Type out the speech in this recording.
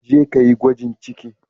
Jeka yi gwajin ciki.